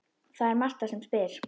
Það er Marta sem spyr.